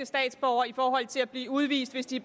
statsborgere med hensyn til at blive udvist hvis de